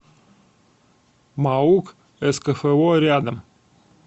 маук скфо рядом